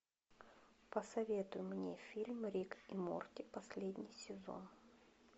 посоветуй мне фильм рик и морти последний сезон